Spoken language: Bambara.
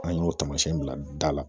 An y'o taamasiyɛn bila da la